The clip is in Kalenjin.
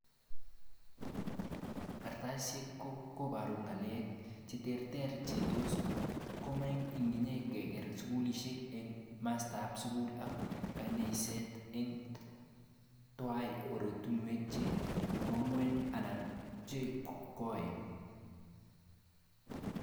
katrasit ko poru ngalek cheterter che tos komang inge keker skulishek eng mastap sukul ak kaneiset, ing twai orutunwek che nwagen anan che koen.